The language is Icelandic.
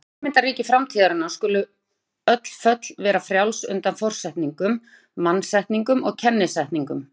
Í fyrirmyndarríki framtíðarinnar skulu öll föll vera frjáls undan forsetningum, mannasetningum og kennisetningum.